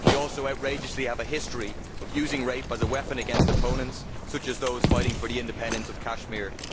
They also outrageously have a history of using rape as a weapon against opponents such as those fighting for the independence of Kashmir.